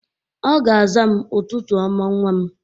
Ọ ga-aza m, "Ụtụtụ ọma nwa m!"